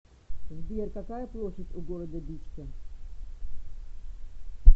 сбер какая площадь у города бичке